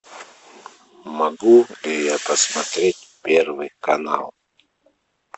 могу я посмотреть первый канал